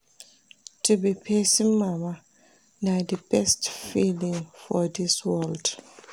To be pesin mama na di best feeling for dis world.